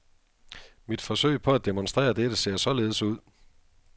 Mit forsøg på at demonstrere dette ser således ud.